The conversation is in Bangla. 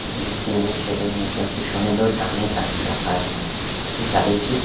যেখানে টিন -এর সেড -এর নীচে একটি সুন্দর দামি গাড়ি রাখা আছে সেই গাড়িটি--